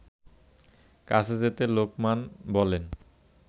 কাছে যেতে লোকমান বলে